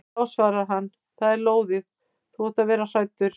Já svarar hann, það er lóðið, þú átt að vera hræddur.